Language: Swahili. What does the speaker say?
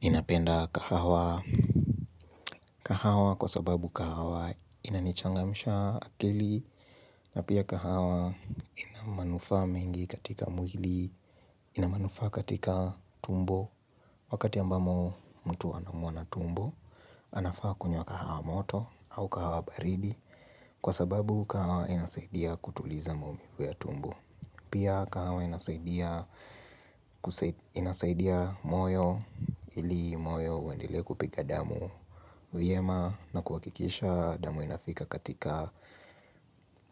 Ninapenda kahawa. Kahawa kwa sababu kahawa inanichangamisha akili na pia kahawa inamanufa mingi katika mwili, inamanufa katika tumbo. Wakati ambamo mtu anaumwa na tumbo, anafaa kunywa kahawa moto au kahawa baridi kwa sababu kahawa inasaidia kutuliza maumivu ya tumbo. Pia kahawa inasaidia moyo ili moyo wendele kupika damu viema na kuwakikisha damu inafika katika